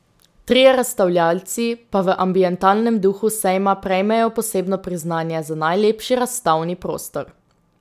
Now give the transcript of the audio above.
Trije razstavljavci pa v ambientalnem duhu sejma prejmejo posebno priznanje za najlepši razstavni prostor.